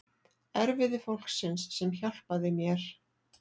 Erfiði fólksins sem hjálpaði mér.